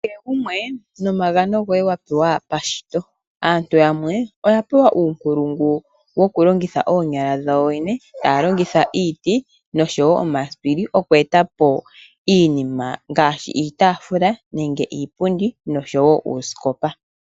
Kehe gumwe nomagano goye wa pewa pashito , aantu yamwe oya pewa uunkulungu wokulongitha oonyala dhawo yene taya longitha iiti noshowo omasipili okweetapo iinima ngaashii iitafula nege iipundi noshowo uusikopa.